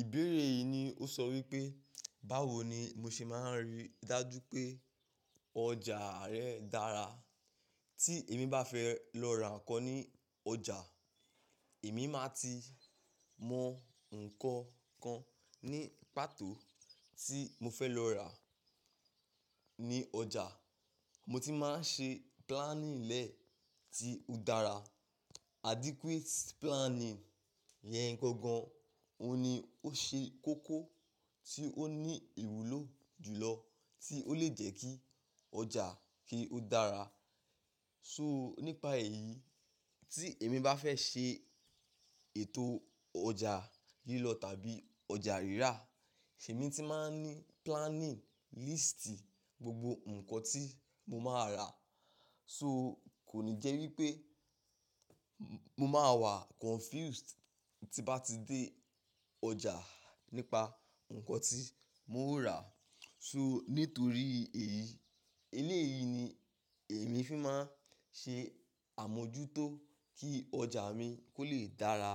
Ìbéèrè yìí ni ó sọ wípé, báwo ni mo ṣe máa ń rí dájú pé ọjà rẹ dára? Tí èmi bá fẹ́ lọ ra nǹkan ní ọjà, èmi máa ti mọ ǹkan kan ní pàtó tí mo fẹ́ lọ rà ní ọjà. Mo ti máa ń ṣe planning lẹ́ẹ̀ tí ó dára. Adequate planning yẹn gangan òhun ni ó ṣe kókó tí ó ní ìwúlò jùlọ tí ó lè jẹ́ kí ọjà kí ó dára. So nípa èyí tí èmi bá fẹ́ ṣe ètò ọjà lílọ tàbí ọjà rírà, ṣo èmi ti máa ń ní planning list gbogbo ǹkan tí mo máa rà. So kò ní jẹ́ wípé mo máa wà confused tí n bá ti dé ọjà nípa ǹkan tí mo ó rà. So nítorí èyí, eléyìí ni èmi fi máa ń ṣe àmójútó kí ọjà mi kó lè dára